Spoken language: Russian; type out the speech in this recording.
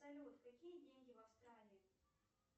салют какие деньги в австралии